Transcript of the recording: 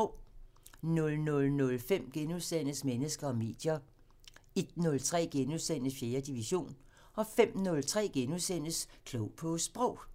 00:05: Mennesker og medier * 01:03: 4. division * 05:03: Klog på Sprog *